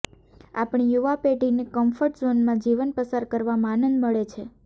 આપણી યુવા પેઢીને કમ્ફર્ટ ઝોનમાં જીવન પસાર કરવામાં આનંદ મળે છે